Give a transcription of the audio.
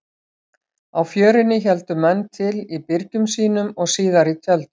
Á Fjörunni héldu menn til í byrgjum sínum og síðar í tjöldum.